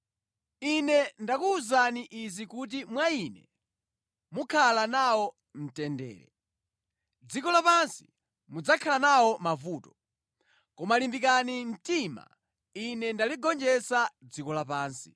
“Ine ndakuwuzani izi kuti mwa Ine mukhale nawo mtendere. Mʼdziko lapansi mudzakhala nawo mavuto. Koma limbikani mtima! Ine ndaligonjetsa dziko lapansi.”